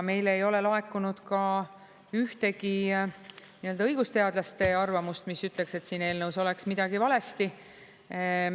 Meile ei ole laekunud ka ühtegi õigusteadlaste arvamust, mis ütleks, et siin eelnõus oleks midagi valesti.